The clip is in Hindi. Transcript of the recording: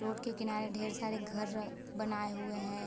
रोड के किनारे ढेर सारे घर बनाए हुए हैं।